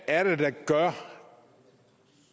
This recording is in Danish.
er det der gør